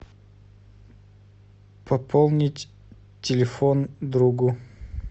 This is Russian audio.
пополнить телефон другу